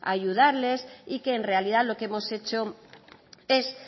ayudarles y que en realidad lo que hemos hecho es